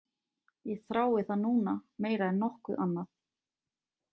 Ég þrái það núna meira en nokkuð annað.